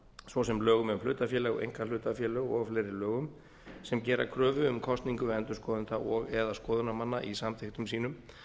svo sem lögum um hlutafélög einkahlutafélög og fleiri lögum sem gera kröfu um kosningu endurskoðenda og eða skoðunarmanna í samþykktum sínum